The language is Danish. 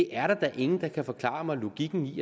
er da ingen der kan forklare mig logikken i